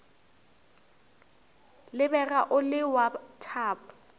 lebega o le wa thabo